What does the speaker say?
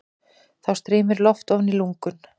Þá streymir loft ofan í lungun.